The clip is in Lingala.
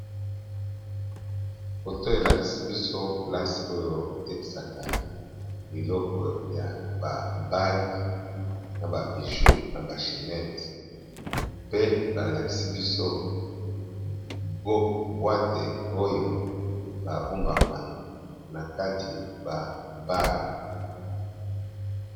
Foto oyo elakisi biso place oyo batekaka ba bague ,bijoux na ba chenette pe balakisi biso boîte ba bombaka na kati.